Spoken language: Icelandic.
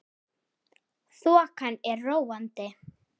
Þokan er róandi